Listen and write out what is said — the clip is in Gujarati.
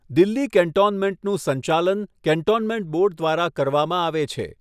દિલ્હી કેન્ટોનમેન્ટનું સંચાલન કેન્ટોનમેન્ટ બોર્ડ દ્વારા કરવામાં આવે છે.